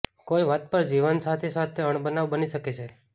કોઈ વાત પર જીવનસાથી સાથે અણબનાવ બની શકે છે